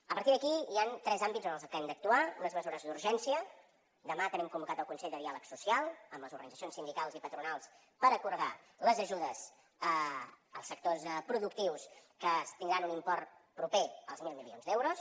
a partir d’aquí hi han tres àmbits en els que hem d’actuar unes mesures d’urgència demà tenim convocat el consell de diàleg social amb les organitzacions sindicals i patronals per acordar les ajudes als sectors productius que tindran un import proper als mil milions d’euros